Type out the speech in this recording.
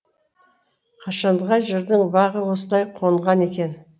қашанға жырдың бағы осылай қонған екен